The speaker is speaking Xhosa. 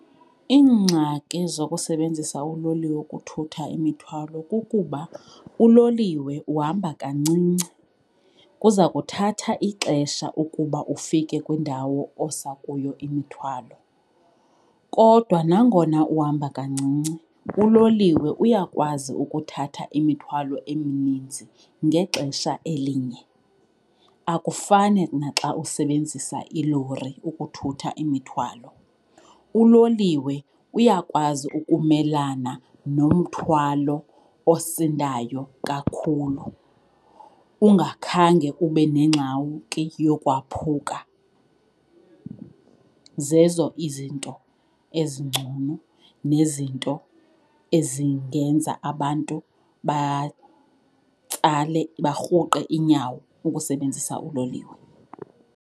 Iingxaki zokusebenzisa uloliwe ukuthutha imithwalo kukuba uloliwe uhamba kancinci, kuza kuthatha ixesha ukuba ufike kwindawo osa kuyo imithwalo. Kodwa nangona uhamba kancinci, uloliwe uyakwazi ukuthatha imithwalo emininzi ngexesha elinye, akufani naxa usebenzisa ilori ukuthutha imithwalo. Uloliwe uyakwazi ukumelana nomthwalo osindayo kakhulu ungakhange kube nengxaki yokwaphuka. Zezo izinto ezingcono nezinto ezingenza abantu batsale, barhuqe iinyawo ukusebenzisa uloliwe.